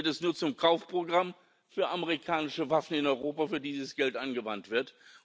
Sinn. Dann wird es nur zum Kaufprogramm für amerikanische Waffen in Europa, für die dieses Geld angewandt